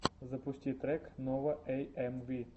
запусти трек нова эйэмви